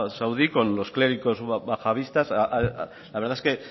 saudí con los clérigos la verdad es que